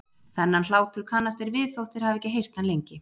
Þennan hlátur kannast þeir við þótt þeir hafi ekki heyrt hann lengi.